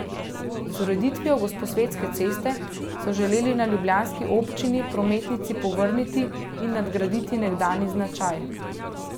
Z ureditvijo Gosposvetske ceste so želeli na ljubljanski občini prometnici povrniti in nadgraditi nekdanji značaj.